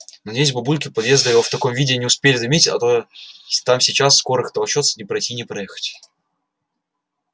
надеюсь бабульки у подъезда его в таком виде не успели заметить а то там сейчас скорых толчётся не пройти не проехать